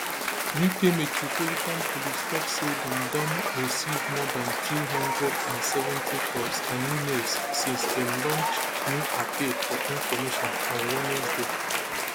uk metropolitan police tok say dem don receive more dan two hundred and seventy calls and emails since dem launch new appeal for information on wednesday